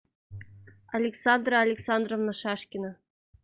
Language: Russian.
александра александровна шашкина